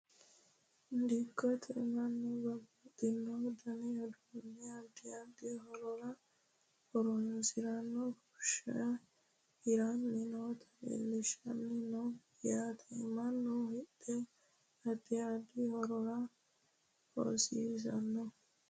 Dikkote manu babaxino dani uduune adi adi horora horonsinaniha fushe hirani nooti leeltani no yaate manu hidhe adi adi horora hosisano.